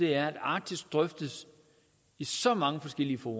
er at arktis drøftes i så mange forskellige fora